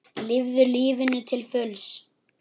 Lifðu lífinu til fulls!